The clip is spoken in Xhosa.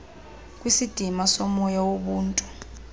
kwisidima somoya wobuntu